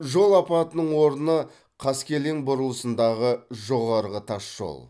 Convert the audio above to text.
жол апатының орны қаскелең бұрылысындағы жоғарғы тас жол